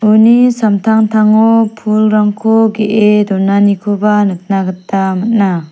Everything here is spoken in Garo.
uni samtangtango pulrangko ge·e donanikoba nikna gita man·a.